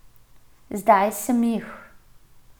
Zdaj sem jih.